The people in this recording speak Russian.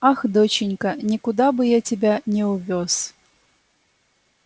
ах доченька никуда бы я тебя не увёз